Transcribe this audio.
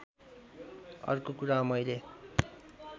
अर्को कुरा मैले